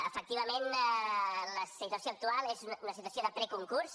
efectivament la situació actual és una situació de preconcurs